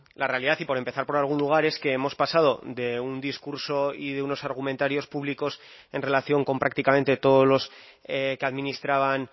la realidad y por empezar por algún lugar es que hemos pasado de un discurso y de unos argumentarios públicos en relación con prácticamente todos los que administraban